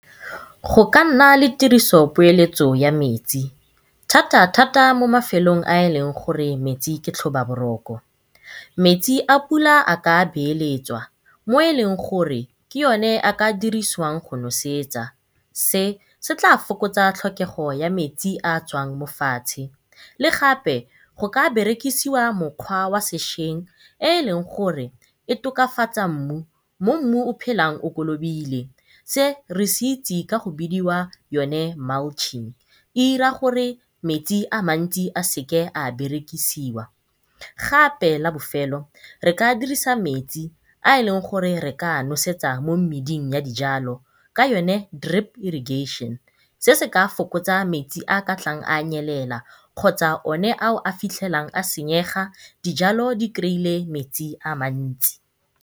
Go ka nna le tiriso poeletso ya metsi thata thata mo mafelong a eleng gore metsi ke tlhoba boroko. Metsi a pula a ka beeletswa mo eleng gore ke one a ka dirisiwang go nosetsa, se se tla fokotsa tlhokego ya metsi a a tswang mo fatshe. Le gape go ka berekisiwa mokgwa ya sesheng e e leng gore e tokafatsa mmu, mo mmu o phelang o kolobile se re se itsi ka go bidiwa yone e ira gore metsi ale mantsi a seke a berekisiwa. Gape la bofelo re ka dirisa metsi a leng gore re ka a nosetsa mo meding ya dijalo ka yone drip irrigation, se se ka fokotsa metsi a a ka tlang a nyelela kgotsa o ne a fitlhelang a senyega dijalo di metsi a mantsi.